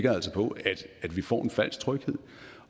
altså på at vi får en falsk tryghed